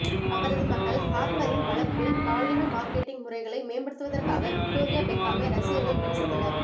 அவரது மகள் ஹார்ப்பரின் வளர்ப்பில் பாலின மார்க்கெட்டிங் முறைகளை மேம்படுத்துவதற்காக விக்டோரியா பெக்காமை ரசிகர்கள் விமர்சித்தனர்